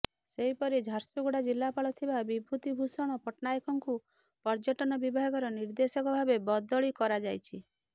ସେହିପରି ଝାରସୁଗୁଡା ଜିଲ୍ଲାପାଳ ଥିବା ବିଭୁତି ଭୂଷଣ ପଟ୍ଟନାୟକଙ୍କୁ ପର୍ଯ୍ୟଟନ ବିଭାଗର ନିର୍ଦେଶକ ଭାବେ ବଦଳି କରାଯାଇଛି